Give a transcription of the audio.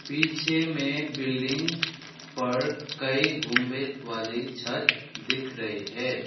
पीछे में बिल्डिंग पर कई गुंबद वाली छत दिख रही है।